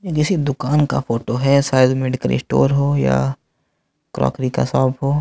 जैसे दुकान का फोटो है शायद मेडिकल स्टोर हो या क्रोकरी का शॉप हो।